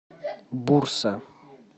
бурса